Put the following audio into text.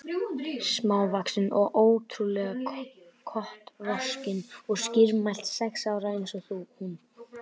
Smávaxin og ótrú- lega kotroskin og skýrmælt, sex ára eins og hún.